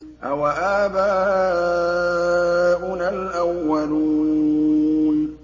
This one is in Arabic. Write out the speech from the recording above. أَوَآبَاؤُنَا الْأَوَّلُونَ